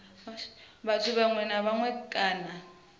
muthu muṅwe na muṅwe kana